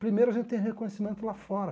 Primeiro, a gente tem reconhecimento lá fora.